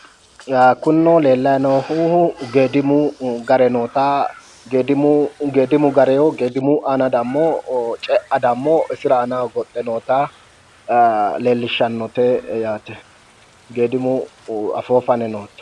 Kunino leellayi noohu geedimu gare noota, geedimu aana dammo cea dammo isira aanaho goxxe noota leellishshsnnote yaate. geedimu afoo fane noote.